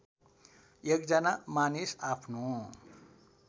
एकजना मानिस आफ्नो